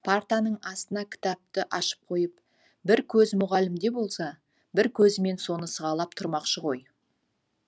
партаның астына кітапты ашып қойып бір көзі мұғалімде болса бір көзімен соны сығалап тұрмақшы ғой